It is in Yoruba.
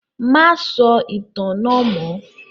Má sọ ìtàn náà mọ́!